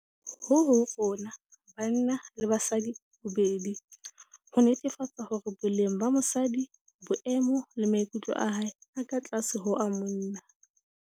Ho ho rona - banna le basadi bobedi - ho netefatsa hore boleng ba mosadi, boemo le maikutlo a hae ha a ka tlase ho a monna.